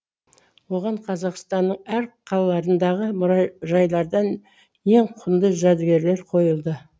оған қазақстанның әр қалаларындағы мұражайлардан ең құнды жәдігерлер қойылды